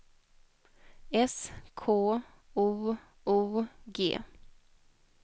S K O O G